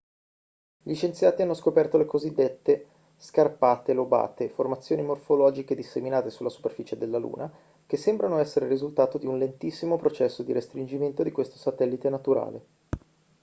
gli scienziati hanno scoperto le cosiddette scarpate lobate formazioni morfologiche disseminate sulla superficie della luna che sembrano essere il risultato di un lentissimo processo di restringimento di questo satellite naturale